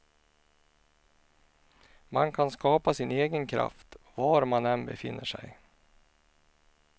Man kan skapa sin egen kraft, var man än befinner sig.